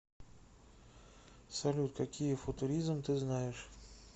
салют какие футуризм ты знаешь